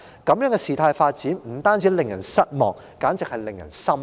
這樣的事態發展不單令人失望，簡直是令人心寒。